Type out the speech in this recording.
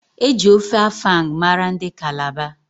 Eji ofe afang mara ndị Kalaba.